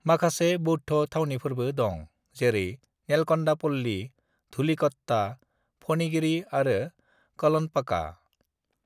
"माखासे बौद्ध' थावनिफोरबो दं जेरै नेलकन्डापल्ली, धुलिकट्टा, फणिगिरी आरो कलनपका।"